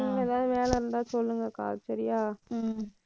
நீங்க ஏதாவது வேலை இருந்தா சொல்லுங்கக்கா சரியா